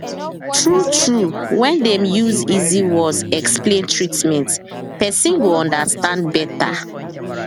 true true when dem use easy words explain treatment person go understand better